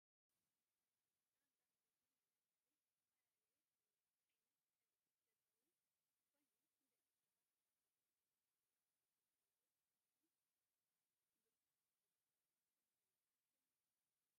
ኣብ ጠረጴዛ መደርደሪ ብዝተፈላለየ ዓይነትሕብርታት ዘለው ኮይኑ ንደቆ ሰባት ካብ ቦታ ናብ ቦታ ክንቀሳቀሱ ከለው ዝጠቅሞም ኣብ እግርካ ዝግበር እዩ። እንታይ ይብሃል ሽሙ?